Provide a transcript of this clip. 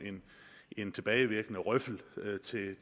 en tilbagevirkende røffel